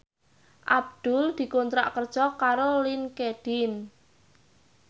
Abdul dikontrak kerja karo Linkedin